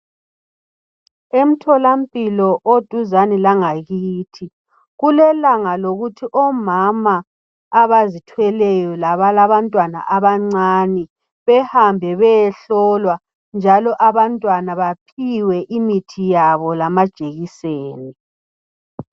Emtholampilo oduzane langakithi kulelanga lokuthi omama abazithweleyo labalabantwana abancane bahambe beyehlolwa njalo abantwana bapgiwe imithi yabo lamajekiseni